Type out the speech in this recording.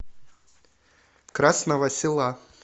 красного села